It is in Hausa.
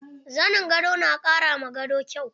Zanin gado na ƙara ma gado kyau.